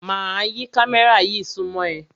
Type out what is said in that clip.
Máa yí kámẹ́rà yí súnmọ́ ẹ.